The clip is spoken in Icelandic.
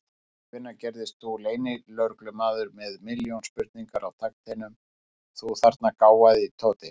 Síðan hvenær gerðist þú leynilögreglumaður með milljón spurningar á takteinum, þú þarna gáfaði Tóti!